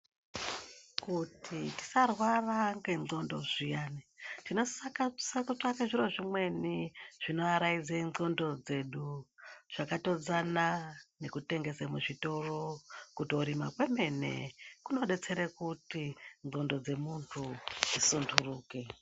Kuti tisarwara ngendxondo zviyani, tinosisa kutsvaka zviro zvimweni zvinoaraidza ndxondo dzedu zvakatodzana nekutengese muzvitoro, kutorima kwemene kunodetsere kuti ndxondo dzemuntu dzisunduruke.